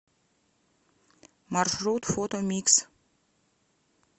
маршрут фото микс